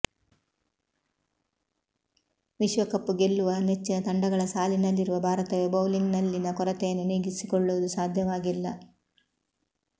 ವಿಶ್ವಕಪ್ ಗೆಲ್ಲುವ ನೆಚ್ಚಿನ ತಂಡಗಳ ಸಾಲಿನಲ್ಲಿರುವ ಭಾರತವೇ ಬೌಲಿಂಗ್ನಲ್ಲಿನ ಕೊರತೆಯನ್ನು ನೀಗಿಸಿಕೊಳ್ಳುವುದು ಸಾಧ್ಯವಾಗಿಲ್ಲ